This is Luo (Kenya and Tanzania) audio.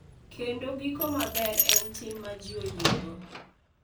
Kendo giko maber en tim ma ji oyiego,